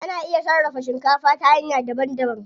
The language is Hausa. Ana iya sarrafa shikafa ta hanya daban daban.